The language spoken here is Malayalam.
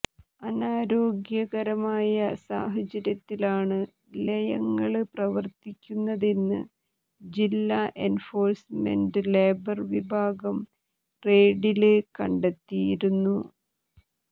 അനാരോഗ്യകരമായ സാഹചര്യത്തിലാണ് ലയങ്ങള് പ്രവര്ത്തിക്കുന്നതെന്ന് ജില്ലാ എന്ഫോഴ്സ്മെന്റ് ലേബര് വിഭാഗം റെയ്ഡില് കണ്ടെത്തിയിരുന്നു